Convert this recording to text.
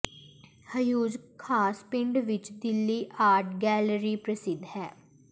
ਹਊਜ਼ ਖ਼ਾਸ ਪਿੰਡ ਵਿਚ Delhi art gallery ਪ੍ਰਸਿੱਧ ਹੈ